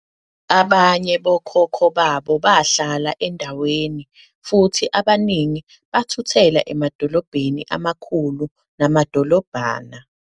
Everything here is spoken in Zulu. Abanye bokhokho babo bahlala endaweni, futhi abaningi bathuthela emadolobheni amakhulu namadolobhana.